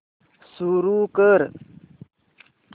सुरू कर